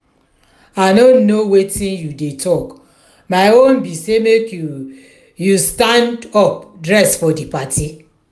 i no know wetin you dey talk my own be say make you you stand up dress for the party